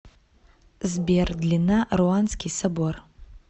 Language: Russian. сбер длина руанский собор